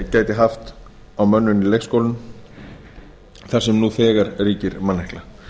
gæti haft á mönnun í leikskólum þar sem nú þegar ríkir mannekla